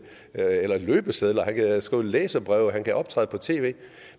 eller løbesedler han kan skrive læserbreve og han kan optræde på tv